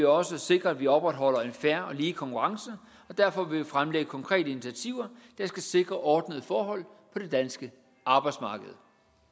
også sikre at vi opretholder en fair og lige konkurrence og derfor vil vi fremlægge konkrete initiativer der skal sikre ordnede forhold på det danske arbejdsmarked